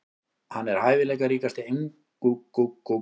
Hann er hæfileikaríkasti ungi Englendingurinn.